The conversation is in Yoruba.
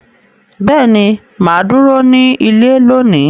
Beeni, maa duro ni ile loni.